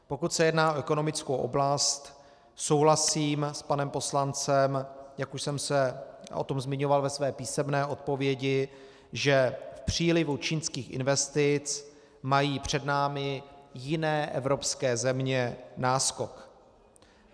Pokud se jedná o ekonomickou oblast, souhlasím s panem poslancem, jak už jsem se o tom zmiňoval ve své písemné odpovědi, že v přílivu čínských investic mají před námi jiné evropské země náskok.